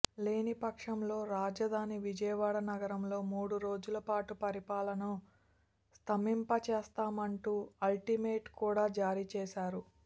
లేని పక్షంలో రాజధాని విజయవాడ నగరంలో మూడు రోజులపాటు పరిపాలనను స్తంభింపచేస్తామంటూ అల్టిమేటం కూడా జారీ చేశారు